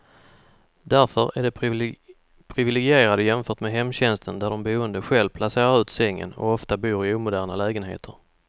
Därför är de priviligierade jämfört med hemtjänsten där de boende själv placerar ut sängen, och ofta bor i omoderna lägenheter.